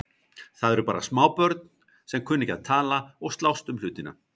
Það eru bara smábörn sem kunna ekki að tala og slást um hlutina.